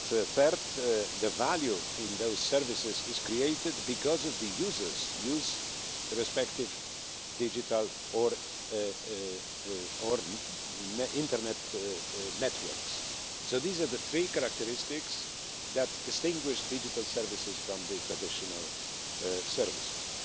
Third, the value in those services is created because of the users' use of respective digital Internet networks. So these are the three characteristics that distinguish digital services from the traditional services.